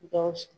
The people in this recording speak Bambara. Gawusu